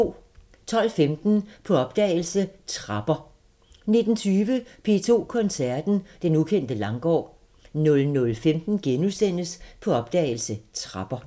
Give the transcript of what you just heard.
12:15: På opdagelse – Trapper 19:20: P2 Koncerten – Den ukendte Langgaard 00:15: På opdagelse – Trapper *